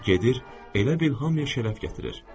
Gedir, elə bil hamiyə şərəf gətirir.